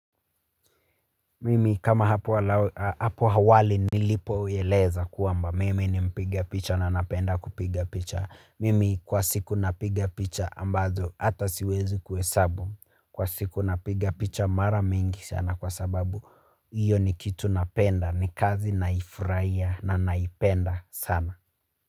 Mimi kama hapo awali nilipo eleza kwamba mimi ni mpiga picha na napenda kupiga picha. Mimi kwa siku napiga picha ambazo hata siwezi kuhesabu. Kwa siku napiga picha mara mingi sana kwa sababu hiyo ni kitu napenda ni kazi naifurahia na naipenda sana.